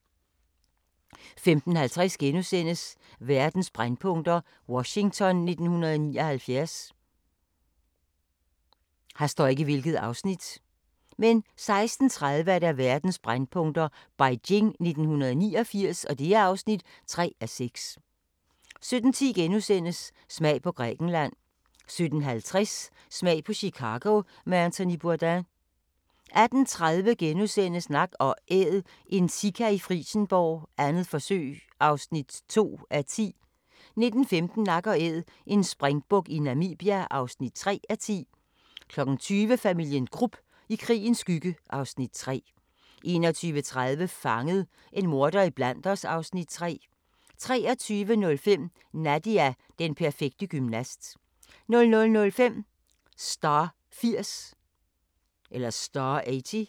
15:50: Verdens brændpunkter: Washington 1979 * 16:30: Verdens brændpunkter: Beijing 1989 (3:6) 17:10: Smag på Grækenland * 17:50: Smag på Chicago med Anthony Bourdain 18:30: Nak & Æd – en sika i Frijsenborg, 2. forsøg (2:10)* 19:15: Nak & Æd – en springbuk i Namibia (3:10) 20:00: Familien Krupp - i krigens skygge (Afs. 3) 21:30: Fanget – en morder iblandt os (Afs. 3) 23:05: Nadia – den perfekte gymnast 00:05: Star 80